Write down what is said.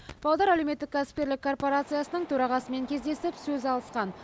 павлодар әлеуметтік кәсіпкерлік корпорациясының төрағасымен кездесіп сөз алысқан